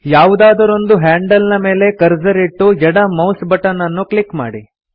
ಯಾವುದಾದರೊಂದು ಹ್ಯಾಂಡಲ್ ನ ಮೇಲೆ ಕರ್ಸರ್ ಇಟ್ಟು ಎಡ ಮೌಸ್ ಬಟನ್ ಅನ್ನು ಕ್ಲಿಕ್ ಮಾಡಿ